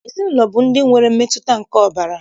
Ezinaụlọ bụ ndị nwere mmetụta nke ọbara